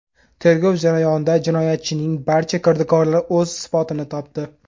Tergov jarayonida jinoyatchining barcha kirdikorlari o‘z isbotini topdi.